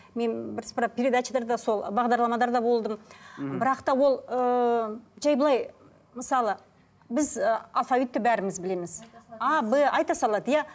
мен бір сыпыра передачаларда сол бағдарламаларда болдым мхм бірақ та ол ыыы жай былай мысалы біз ы алфавитті бәріміз білеміз а б айта салады иә